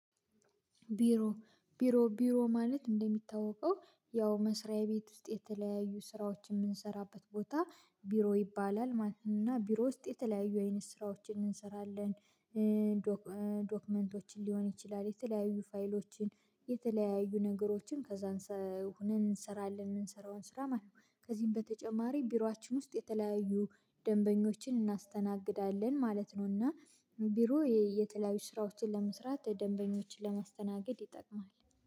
ቢሮ ቢሮ ቢሮ ማለት እንደሚታወቀው ያው መስሪያ ቤት ውስጥ የተለያዩ ስራዎችን የምንሰራበት ቦታ ቢሮ ይባላል ማለት ነው እና ቢሮ ውስጥ የተለያዩ አይነት ስራዎችን እንሰራለን። ዶክመንቶችን ሊሆን ይችላል የተለያዩ ፋይሎችን የተለያዩ ነገሮችን ከዛ እንሰራለን የምንሰራውን ስራ ማለት ነው። ከዚህም በተጨማሪ ቢሮአችን ውስጥ የተለያዩ ደንበኞችን እናስተናግዳለን ማለት ነውና። ቢሮ የተለያዩ ስራዎችን ለመስራት ደንበኞችን ለማስተናገድ ይጠቅማል